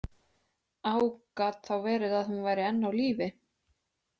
Á Gat þá verið að hún væri enn á lífi?